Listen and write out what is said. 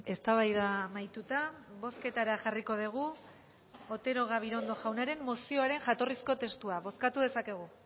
eztabaida amaituta bozketara jarriko dugu otero gabirondo jaunaren mozioaren jatorrizko testua bozkatu dezakegu